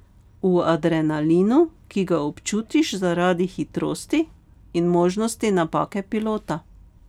V adrenalinu, ki ga občutiš zaradi hitrosti in možnosti napake pilota.